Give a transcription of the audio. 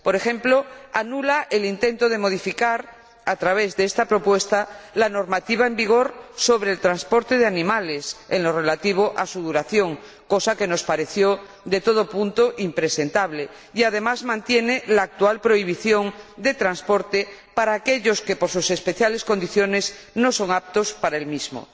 Por ejemplo, anula el intento de modificar a través de esta propuesta la normativa en vigor sobre el transporte de animales en lo relativo a su duración —cosa que nos pareció de todo punto impresentable— y mantiene la actual prohibición de transporte para aquellos que por sus especiales condiciones no son aptos para el mismo.